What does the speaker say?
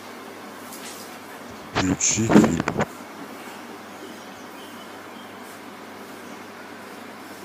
включи фильм